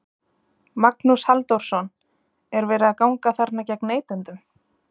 Magnús Halldórsson: Er verið að ganga þarna gegn neytendum?